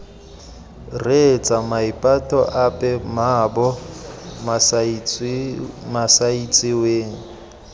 reetsa maipato ape mmaabo masaitsiweng